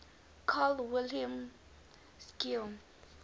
carl wilhelm scheele